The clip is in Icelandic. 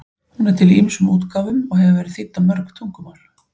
Hún er til í ýmsum útgáfum og hefur verið þýdd á mörg tungumál.